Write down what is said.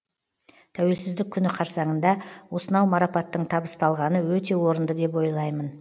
тәуелсіздік күні қарсаңында осынау марапаттың табысталғаны өте орынды деп ойлаймын